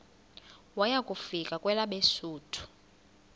waya kufika kwelabesuthu